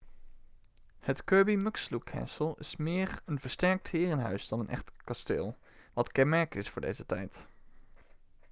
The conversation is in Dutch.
het kirby muxloe castle is meer een versterkt herenhuis dan een echt kasteel wat kenmerkend is voor deze tijd